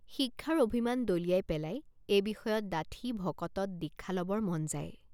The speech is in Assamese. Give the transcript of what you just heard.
শিক্ষাৰ অভিমান দলিয়াই পেলাই এই বিষয়ত ডাঠি ভকতত দীক্ষা লবৰ মন যায়।